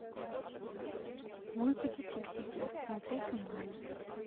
мультики фиксики смотреть онлайн